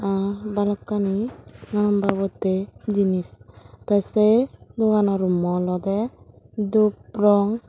mm balokkani nananbabottey jinis tey sey dogano rummo olodey dup rong.